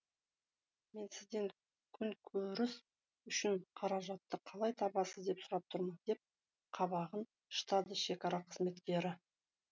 мен сізден күнкөріс үшін қаражатты қалай табасыз деп сұрап тұрмын деп қабағын шытады шекара қызметкері